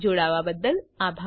જોડાવા બદ્દલ આભાર